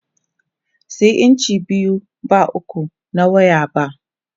Sayi inci biyu ba uku na waya ba!